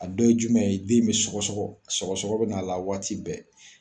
A dɔ ye jumɛn ye, den be sɔgɔsɔgɔ. Sɔgɔsɔgɔ be na la waati bɛɛ.